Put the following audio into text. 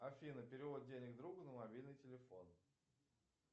афина перевод денег другу на мобильный телефон